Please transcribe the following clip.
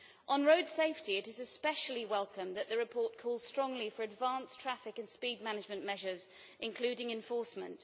On road safety, it is especially welcome that the report calls strongly for advanced traffic and speed management measures, including enforcement.